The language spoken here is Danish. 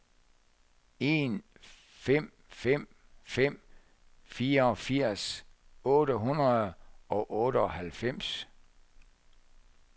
en fem fem fem toogfirs otte hundrede og otteoghalvfems